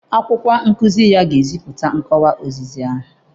Akwụkwọ nkuzi ya ga-ezipụta nkọwa ozizi ahụ.